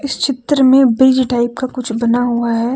चित्र में bridge type का कुछ बना हुआ है।